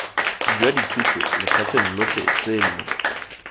jwa dithuto lefatsheng lotlhe seno